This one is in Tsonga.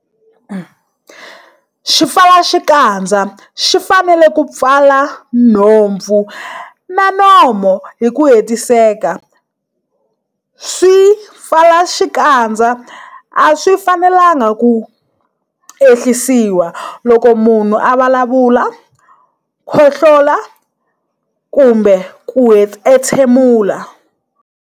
Xipfalaxikandza xi fanele ku pfala nhompfu na nomo hi ku hetiseka. Swipfalaxikandza a swi fanelanga ku ehlisiwa loko munhu a vulavula, khohlo-la kumbe ku entshemula.